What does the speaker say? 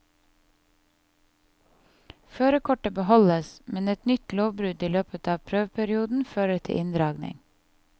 Førerkortet beholdes, men et nytt lovbrudd i løpet av prøveperioden fører til inndragning.